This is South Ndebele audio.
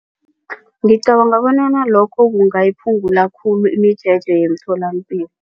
Ngicabanga bonyana lokho kungayiphungula khulu imijeje yemtholapilo.